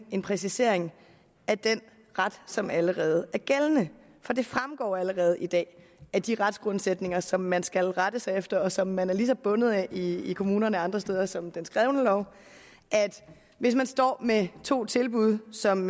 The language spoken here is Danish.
en præcisering af den ret som allerede er gældende for det fremgår allerede i dag af de retsgrundsætninger som man skal rette sig efter og som man er lige så bundet af i kommunerne og andre steder som den skrevne lov at hvis man står med to tilbud som